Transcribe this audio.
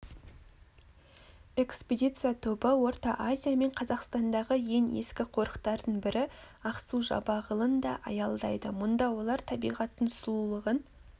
экспедиция тобы орта азия мен қазақстандағы ең ескі қорықтардың бірі ақсу-жабағылыда аялдайды мұнда олар табиғаттың сұлулығын